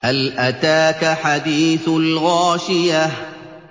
هَلْ أَتَاكَ حَدِيثُ الْغَاشِيَةِ